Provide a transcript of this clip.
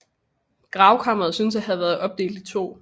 Gravkammeret synes at have være opdelt i to